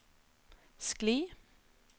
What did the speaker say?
skli